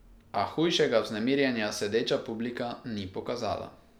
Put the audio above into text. A hujšega vznemirjenja sedeča publika ni pokazala.